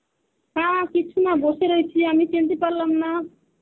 না কিছু না. বসে রয়েছি আমি চিনতে পারলাম না.